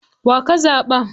Wa ka zaɓa?